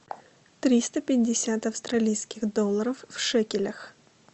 триста пятьдесят австралийских долларов в шекелях